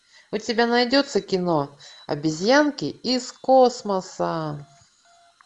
у тебя найдется кино обезьянки из космоса